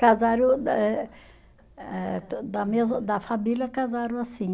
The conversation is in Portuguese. Casaram eh eh da mesma, da família casaram assim.